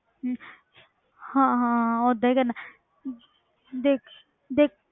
ਹਾਂ ਹਾਂ ਓਦਾਂ ਹੀ ਕਰਨਾ ਦੇਖ ਦੇਖ